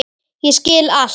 Ég skil allt!